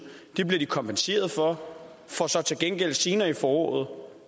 bliver kompenseret for for så til gengæld senere i foråret